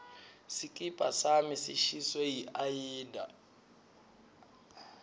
sikipa sami sishiswe yiayina